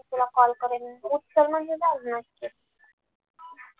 तुला call करेन मी उचल म्हणजे झालं